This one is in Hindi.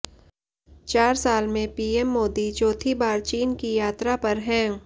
चार साल में पीएम मोदी चौथी बार चीन की यात्रा पर हैं